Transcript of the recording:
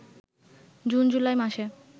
June July মাসে